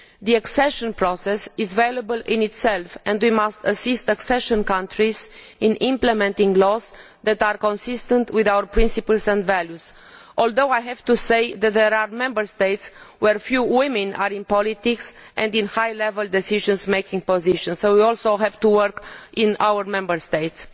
The accession process is valuable in itself and we must assist accession countries in implementing laws which are consistent with our principles and values, although I have to say that there are Member States where few women are in politics and in high level decision making positions, so we also have to work in our own Member States.